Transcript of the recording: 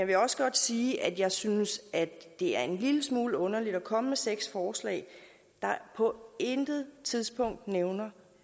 vil også godt sige at jeg synes at det er en lille smule underligt at komme med seks forslag der på intet tidspunkt nævner